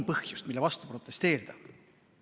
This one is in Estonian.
Aga on, mille vastu protesteerida.